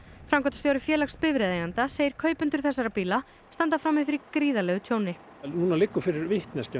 framkvæmdastjóri félags bifreiðaeigenda segir kaupendur þessara bíla standa frammi fyrir gríðarlegu tjóni nú liggur fyrir vitneskja